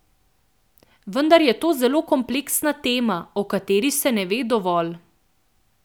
Vendar je to zelo kompleksna tema, o kateri se ne ve dovolj.